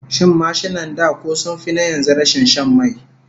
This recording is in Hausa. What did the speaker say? Shin mashinan da ko sun fi na yanzu rashin shan mai?